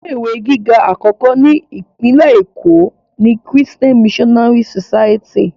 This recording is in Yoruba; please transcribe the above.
Ilé ìwé gíga àkọ́kọ́ ni Ìpínlẹ̀ Èkó ni Christian Missionary society